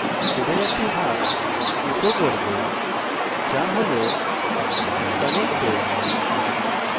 আমি connected নামক কোডের একটি ভাগ ইকো করব